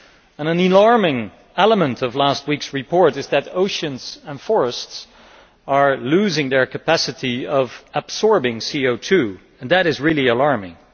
An alarming element of last week's report is that oceans and forests are losing their capacity to absorb CO 2 and that is really alarming.